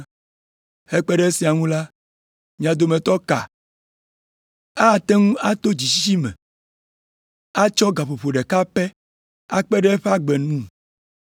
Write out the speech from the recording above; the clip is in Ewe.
Hekpe ɖe esia ŋu la, mia dometɔ ka ate ŋu ato dzitsitsi me atsɔ gaƒoƒo ɖeka pɛ akpe ɖe eƒe agbe ŋu?